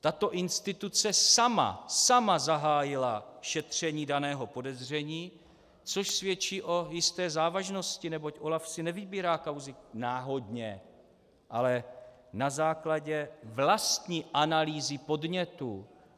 Tato instituce sama, sama zahájila šetření daného podezření, což svědčí o jisté závažnosti, neboť OLAF si nevybírá kauzy náhodně, ale na základě vlastní analýzy podnětů.